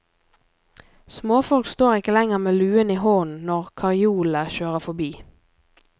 Småfolk står ikke lenger med luen i hånden når karjolene kjører forbi.